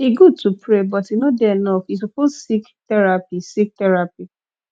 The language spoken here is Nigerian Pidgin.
e good to pray but e no dey enough you suppose seek therapy seek therapy